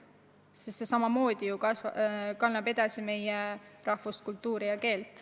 Sest see ju kannab edasi meie rahvuskultuuri ja keelt.